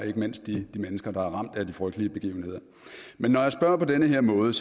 ikke mindst de mennesker der er ramt af de frygtelige begivenheder men når jeg spørger på den her måde